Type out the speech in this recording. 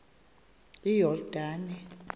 iyordane